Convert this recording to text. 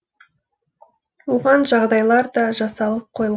оған жағдайлар да жасалып қойыл